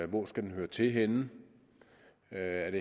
den skal høre til henne er